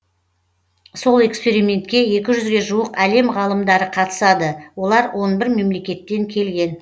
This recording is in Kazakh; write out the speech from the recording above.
сол экспериментке екі жүзге жуық әлем ғалымдары қатысады олар он бір мемлекеттен келген